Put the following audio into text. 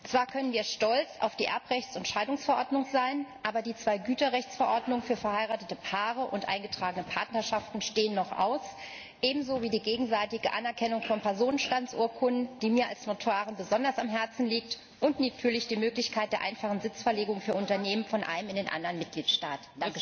Zwar können wir stolz auf die Erbrechts und Scheidungsverordnung sein, aber die zwei Güterrechtsverordnungen für verheiratete Paare und eingetragene Partnerschaften stehen noch aus, ebenso wie die gegenseitige Anerkennung von Personenstandsurkunden, die mir als Notarin besonders am Herzen liegt, und natürlich die Möglichkeit der einfachen Sitzverlegung für Unternehmen von einem in den anderen Mitgliedstaat.